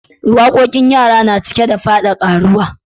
Waƙoƙin yara na cike da fada ƙaruwa